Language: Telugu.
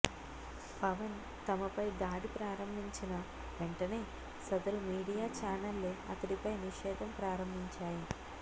పవన్ తమపై దాడి ప్రారంభించిన వెంటనే సదరు మీడియా ఛానెళ్లు అతడిపై నిషేధం ప్రారంభించాయి